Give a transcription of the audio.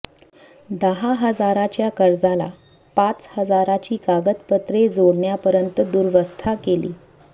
दहा हजाराच्या कर्जाला पाच हजाराची कागदपत्रे जोडण्यापर्यंत दुरवस्था केली